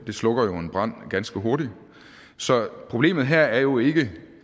slukker jo en brand ganske hurtigt så problemet her er jo ikke